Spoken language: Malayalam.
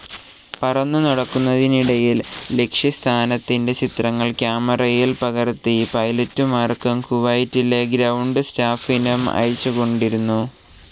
പറന്നു നടക്കുന്നതിനിടയിൽ ലക്ഷ്യസ്ഥാനത്തിൻ്റെ ചിത്രങ്ങൾ ക്യാമറയിൽ പകർത്തി പൈലറ്റുമാർക്കും കുവൈറ്റിലെ ഗ്രൌണ്ട്‌ സ്റ്റാഫിനും അയച്ചുകൊണ്ടിരുന്നു.